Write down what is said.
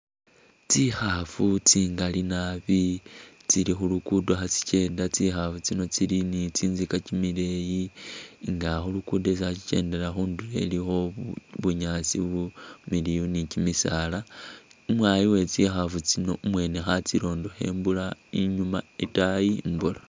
Tsikhafu tsingali naabi tsili khulukudo khatsikyenda tsikhafu tsino tsili ni tsintsika kyimileyi nga khulukudo khatsi tsilikhe tsi kyendela khunduro ilikho bunyaasi bumiliyu ni kyimisaala, umwayi wetsikhafi tsino umwene khatsirondakho imbola inyma itaayi imbola.